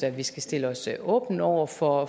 vi skal stille os åbne over for